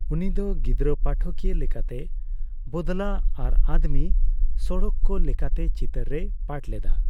ᱩᱱᱤ ᱫᱚ ᱜᱤᱫᱽᱨᱟᱹ ᱯᱟᱴᱷᱚᱠᱤᱭᱟᱹ ᱞᱮᱠᱟᱛᱮ ᱵᱚᱫᱽᱞᱟ ᱟᱨ ᱟᱫᱽᱢᱤ ᱥᱚᱲᱚᱠ ᱠᱟ ᱞᱮᱠᱟᱱ ᱪᱤᱛᱟᱹᱨ ᱨᱮᱭ ᱯᱟᱴᱷ ᱞᱮᱫᱟ ᱾